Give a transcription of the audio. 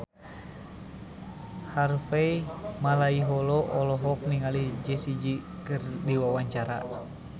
Harvey Malaiholo olohok ningali Jessie J keur diwawancara